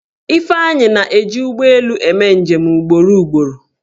Ifeanyi na-eji ụgbọelu eme njem ugboro ugboro.